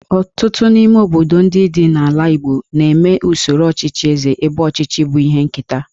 Ọtụtụ n'ime obodo ndị dị n'ala Igbo na-eme usoro ọchịchị Eze ebe ọchịchị bụ ihe nketa